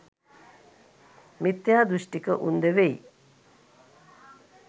මිථ්‍යා දෘෂ්ඨික උන්ද වෙයි